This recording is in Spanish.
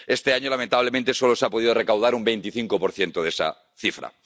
Este año, lamentablemente, solo se ha podido recaudar un 25 de esa cifra.